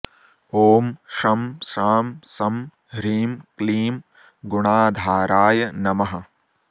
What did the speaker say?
ॐ शं शां षं ह्रीं क्लीं गुणाधाराय नमः